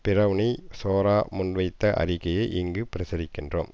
பிரவ்னி சோரா முன்வைத்த அறிக்கையை இங்கு பிரசுரிக்கின்றோம்